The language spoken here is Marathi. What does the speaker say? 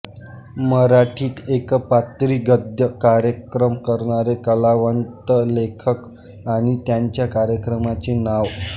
मराठीत एकपात्री गद्य कार्यक्रम करणारे कलावंतलेखक आणि त्यांच्या कार्यक्रमाचे नाव